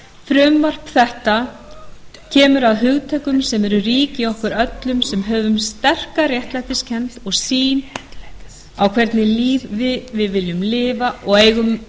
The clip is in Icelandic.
frumvarp þetta kemur að hugtökum sem eru rík í okkur öllum sem höfum sterka réttlætiskennd og sýn á það hvernig lífi við viljum lifa og eigum